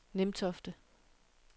Nimtofte